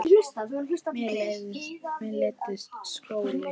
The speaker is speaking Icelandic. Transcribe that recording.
Mér leiðist skóli.